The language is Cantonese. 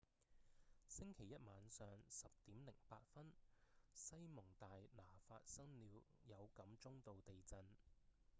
星期一晚上 10:08 西蒙大拿發生了有感中度地震